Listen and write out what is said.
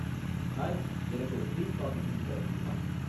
Hi எனக்கு ஒரு cream coffee செஞ்சு தர முடியுமா?